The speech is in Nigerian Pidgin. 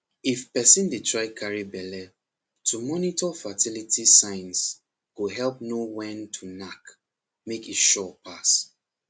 if person dey try carry belle to monitor fertility signs go help know when to knack make e sure pass